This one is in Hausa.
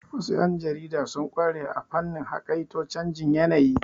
Wasu yan jarida sun ƙware a fannin haƙaito canjin yanayi.